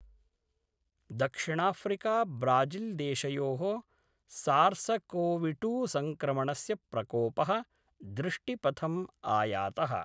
दक्षिणाफ्रीकाब्राजील्देशयोः सार्सकोविटूसंक्रणमस्य प्रकोपः दृष्टिपथम् आयातः।